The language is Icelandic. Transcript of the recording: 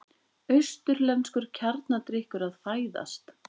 Austurlenskur kjarnadrykkur að fæðast.